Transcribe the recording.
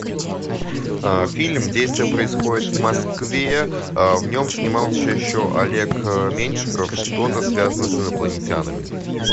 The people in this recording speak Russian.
фильм действие происходит в москве в нем снимался еще олег меньшиков что то связанное с инопланетянами